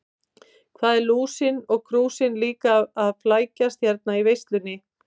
Hvað eru Lúsin og Krúsin líka að flækjast hérna í veislunni.